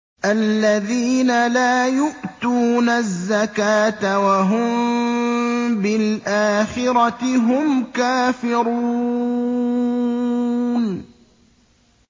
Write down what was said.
الَّذِينَ لَا يُؤْتُونَ الزَّكَاةَ وَهُم بِالْآخِرَةِ هُمْ كَافِرُونَ